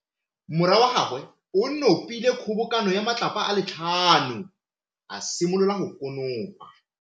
Morwa wa gagwe o nopile kgobokano ya matlapa a le tlhano, a simolola go konopa.